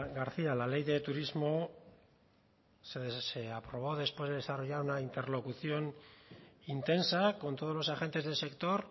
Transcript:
garcía la ley de turismo se aprobó después de desarrollar esa interlocución intensa con todos los agentes del sector